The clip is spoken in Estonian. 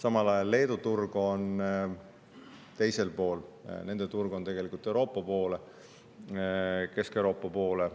Samal ajal on Leedu turg teisel pool: nende turg on tegelikult Kesk-Euroopa poole.